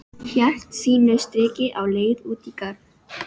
Hélt sínu striki á leið út í garð.